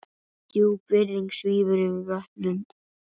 Djúp virðing svífur yfir vötnum.